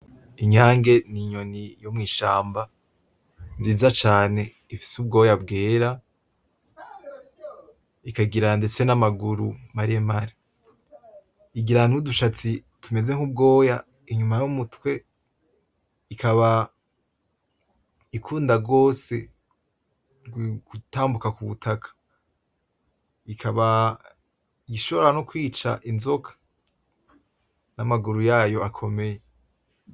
Inyange ni inyoni yo mwishamba nziza cane ifise ubwoya bwera. Ikagira ndetse n'amaguru maremare, igira nudushatsi tumeze nk'ubwoya inyuma yumutwe, ikaba ikunda gose gutambuka kubutaka. Ikaba ishobora no kwica inzoka n'amaguru yayo akomeye.